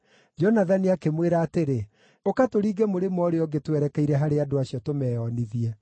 Jonathani akĩmwĩra atĩrĩ, “Ũka tũringe mũrĩmo ũrĩa ũngĩ twerekeire harĩ andũ acio tũmeonithie.